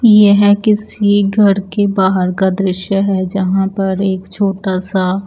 यह किसी एक घर के बहार का दृश्य है जहाँ पर एक छोटा सा --